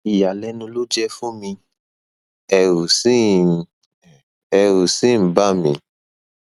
ìyàlẹnu ló jẹ fún mi ẹrù sì ń ẹrù sì ń bà mí